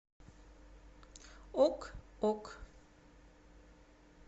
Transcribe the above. ок ок